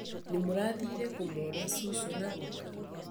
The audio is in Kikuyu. Nĩmũrathire kũmona cũcũ na guka?